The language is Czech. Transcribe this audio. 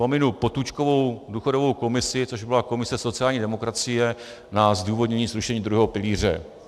Pominu Potůčkovu důchodovou komisi, což byla komise sociální demokracie na zdůvodnění zrušení druhého pilíře.